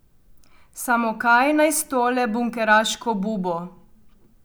Samo kaj naj s tole bunkeraško bubo.